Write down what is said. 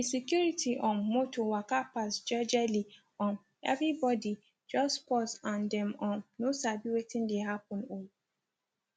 di security um motor waka pass jejely um everybody just pause and dem um no sabi wetin dey happen o